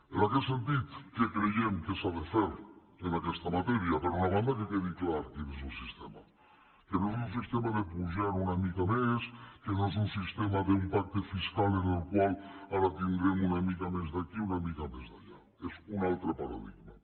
en aquest sentit què creiem que s’ha de fer en aquesta matèria per una banda que quedi clar quin és el sistema que no és un sistema de pujar una mica més que no és un sistema d’un pacte fiscal en el qual ara tindrem una mica més d’aquí i una mica més d’allà és un altre paradigma